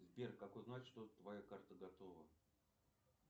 сбер как узнать что твоя карта готова